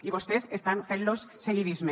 i vostès estan fent los seguidisme